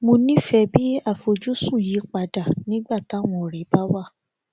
mo nífèé bí àfojúsùn yí padà nígbà táwọn òré bá wá